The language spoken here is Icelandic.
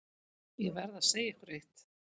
Ég verð að segja ykkur eitt.